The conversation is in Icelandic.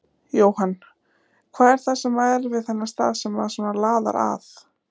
Jóhann: Hvað er það sem að er við þennan stað sem að svona laðar að?